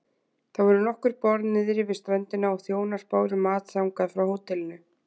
Það voru nokkur borð niðri við ströndina og þjónar báru mat þangað frá hótelinu.